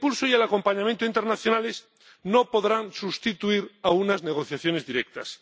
El impulso y el acompañamiento internacionales no podrán sustituir a unas negociaciones directas.